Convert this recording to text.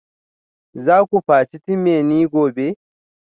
za ku facetime ni gobe